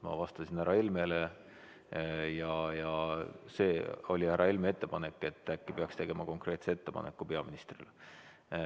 Ma vastasin härra Helmele ja see oli härra Helme ettepanek, et äkki peaks tegema konkreetse ettepaneku peaministrile.